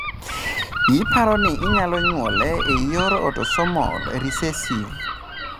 Iparo ni inyalo nyuole e yor autosomal recessive.